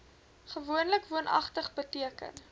gewoonlik woonagtig beteken